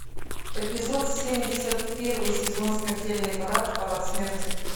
эпизод семьдесят первый сезон смертельный парад парад смерти